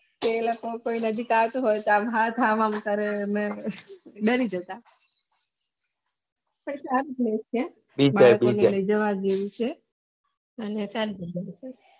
એ લોકો કોઈ નજીક આવે તો આમ હાથ આમ આમ કરે અને ડરી જતા એ જોવા જેવું છે અને